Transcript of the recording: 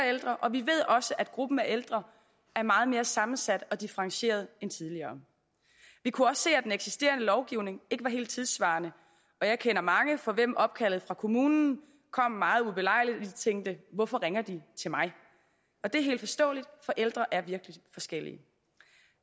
ældre og vi ved også at gruppen af ældre er meget mere sammensat og differentieret end tidligere vi kunne også se at den eksisterende lovgivning ikke var helt tidssvarende og jeg kender mange for hvem opkaldet fra kommunen kom meget ubelejligt tænkte hvorfor ringer de til mig det er helt forståeligt for ældre er virkelig forskellige